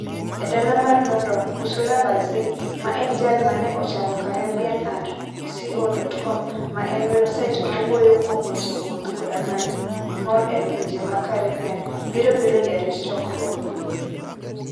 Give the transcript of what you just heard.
E dala mar London, Ursula Barzey, ma en jal ma ne ochako CaribbeanandCo.com ma en websait mawuoyo kuom weche wuoth koda manyo mor e pinje mag Caribbean, biro bedo jarit chokruogno.